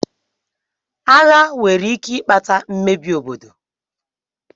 Agha nwere ike ikpata mmebi obodo.